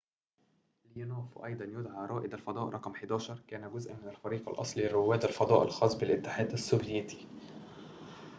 ليونوف وأيضاً يدعى رائد الفضاء رقم 11 كان جزءاً من الفريق الأصلي لرواد الفضاء الخاص بالاتحاد السوفييتي